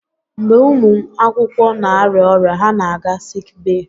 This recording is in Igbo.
Mgbe ụmụ akwụkwọ na-arịa ọrịa, ha na-aga siik bee.